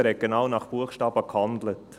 Er hat genau nach Buchstabe gehandelt.